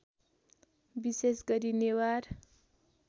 विशेष गरी नेवार